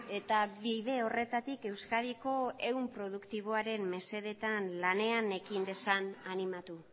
eta bide horretatik euskadiko ehun produktiboaren mesedetan lanean ekin dezan animatu